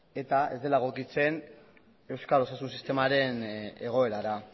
eta ez dela egokitzen euskal osasun sistemaren egoerara